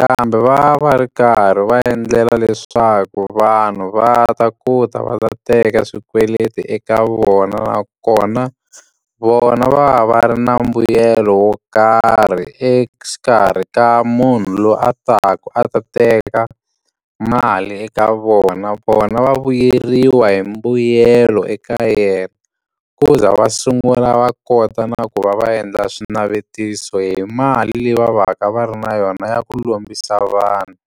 Kambe va va ri karhi va endlela leswaku vanhu va ta ku ta va ta teka swikweleti eka vona nakona, vona va va ri na mbuyelo wo karhi exikarhi ka munhu loyi a taka a ta teka mali eka vona. Vona va vuyeriwa hi mbuyelo eka yena, ku za va sungula va kota na ku va va endla swinavetiso hi mali leyi va va ka va ri na yona ya ku lombisa vanhu.